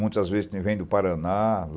Muitas vezes vem do Paraná.